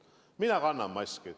Mina kannan maski.